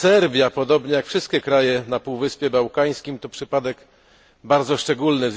Serbia, podobnie jak wszystkie kraje na Półwyspie Bałkańskim, to przypadek bardzo szczególny.